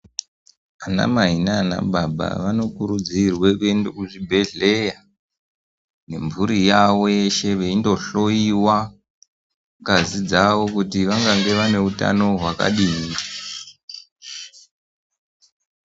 Anamai naana baba vanokurudzirwa kuenda kuzvibhedhleya nemburi yavo yeshe veindohloyiwa ngazi dzavo kuti vangava vaneutano hwakadini.